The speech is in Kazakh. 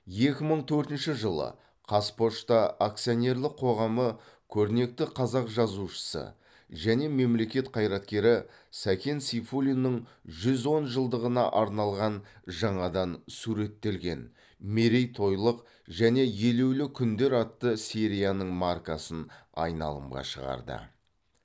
екі мың төртінші жылы қазпошта акционерлік қоғамы көрнекті қазақ жазушысы және мемлекет қайраткері сәкен сейфуллиннің жүз он жылдығына арналған жаңадан суреттелген мерейтойлық және елеулі күндер атты серияның маркасын айналымға шығарды